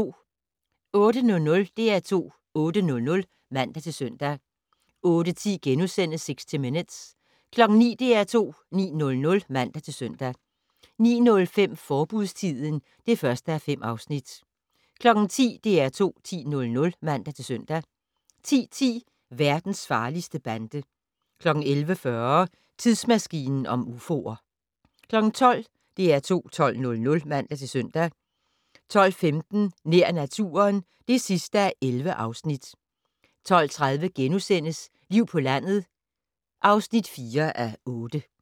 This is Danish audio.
08:00: DR2 8:00 (man-søn) 08:10: 60 Minutes * 09:00: DR2 9:00 (man-søn) 09:05: Forbudstiden (1:5) 10:00: DR2 10:00 (man-søn) 10:10: Verdens farligste bande 11:40: Tidsmaskinen om ufoer 12:00: DR2 12:00 (man-søn) 12:15: Nær naturen (11:11) 12:30: Liv på landet (4:8)*